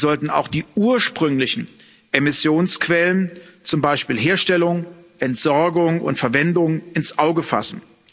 Sie sollten auch die ursprünglichen Emissionsquellen, zum Beispiel Herstellung, Entsorgung und Verwendung, ins Auge fassen.